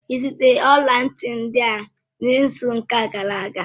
Ị zụtara ọla ntị ndị ahụ n'izu ụka gara aga?